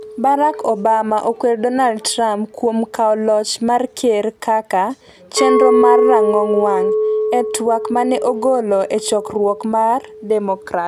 Barack Obama okwedo Donald Trump kuom kawo loch mar ker kaka "chenro mar rang'ong wang'", e twak mane ogolo e chokruok mar Democrats.